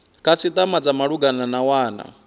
khasitama dza malugana na wana